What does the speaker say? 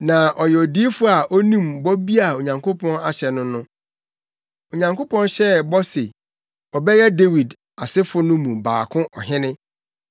Na ɔyɛ odiyifo a onim bɔ bi a Onyankopɔn ahyɛ no no. Onyankopɔn hyɛɛ bɔ se ɔbɛyɛ Dawid asefo no mu baako ɔhene, sɛnea Dawid yɛ ɔhene no ara pɛ.